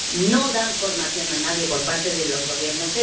No dan formación a nadie por parte de los Gobiernos.